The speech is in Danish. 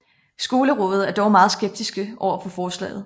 Skolerådet er dog meget skeptiske overfor forslaget